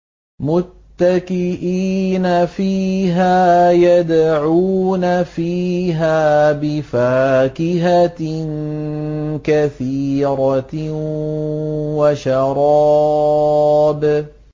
مُتَّكِئِينَ فِيهَا يَدْعُونَ فِيهَا بِفَاكِهَةٍ كَثِيرَةٍ وَشَرَابٍ